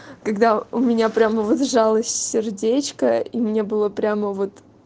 когда у меня прямо вот сжалось сердечко и мне было прямо вот